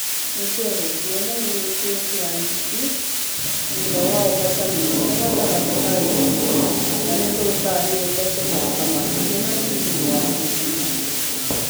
"Nĩtwehokeire na kwĩikira nditi thutha wa ũhotani mũnene gatagatĩ ka wiki na nĩtũtanyĩte gũthaka makĩria na timũ ya thitima.